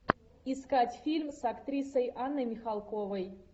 искать фильм с актрисой анной михалковой